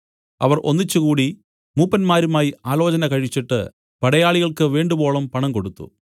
അവർ ഒന്നിച്ചുകൂടി മൂപ്പന്മാരുമായി ആലോചനകഴിച്ചിട്ട് പടയാളികൾക്ക് വേണ്ടുവോളം പണം കൊടുത്തു